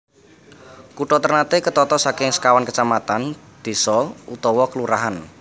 Kutha Ternate ketata saking sekawan kecamatan désa/kelurahan